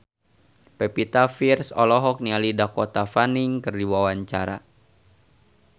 Pevita Pearce olohok ningali Dakota Fanning keur diwawancara